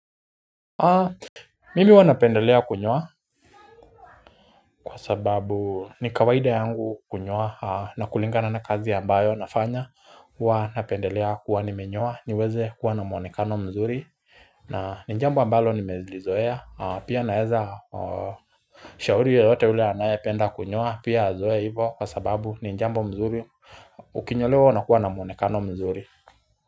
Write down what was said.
Mimi huwa napendelea kunyoa kwa sababu ni kawaida yangu kunyoa na kulingana na kazi ambayo nafanya Huwa napendelea kuwa nimenyoa niweze kuwa na mwonekano mzuri na jambo ambalo nimelizoea pia naeza shauri yoyote ule anayependa kunyoa pia azoe hivo kwa sababu ni jambo mzuri ukinyolewa unakuwa na mwonekano mzuri.